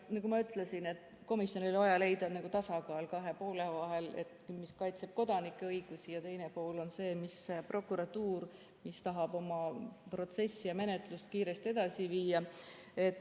Nagu ma ütlesin, siis komisjonil oli vaja leida tasakaal kahe poole vahel: ühelt poolt see, et kaitsta kodanike õigusi, ja teiselt poolt see, et prokuratuur saaks oma protsessi ja menetlust kiiresti edasi viia.